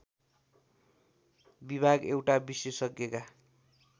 विभाग एउटा विशेषज्ञका